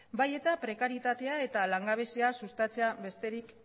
bai eta prekaritatea eta langabezia sustatzea besterik